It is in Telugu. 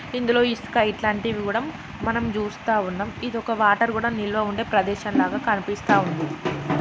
ఇందులో ఇస్కైట్ లాంటివి కూడా మనం చూస్తా వున్నమ్ ఇది ఒక వాటర్ కూడా నిల్వ ఉండే ప్రదేశం లాగా కనిపిస్తుఅంది.